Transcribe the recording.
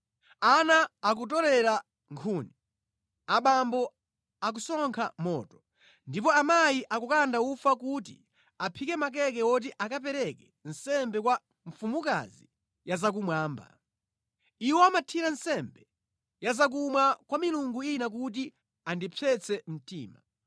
Ana akutorera nkhuni, abambo akusonkha moto, ndipo amayi akukanda ufa kuti aphike makeke oti akapereke nsembe kwa mfumukazi yazakumwamba. Iwo amathira nsembe ya zakumwa kwa milungu ina kuti andipsetse mtima.